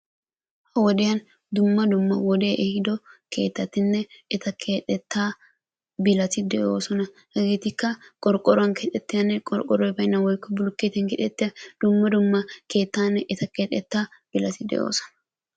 Ha'i woddiyan dumma dumma wodee ehiido keettatinne eta keexettaa bilati de'oosona. Hegeetikka qorqqoruwan keexettiyanne qorqqoroy baynnan woykko bilookkeetiyan keexettiya dumma dumma keettaanne eta keexettaa bilatti de'oosona.